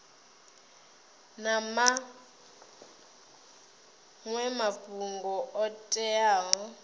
na maṅwe mafhungo o teaho